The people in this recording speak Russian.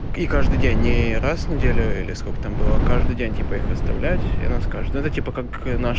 и каждый день не раз в неделю или сколько там было а каждый день типо их оставлять и она скажет это типа как наш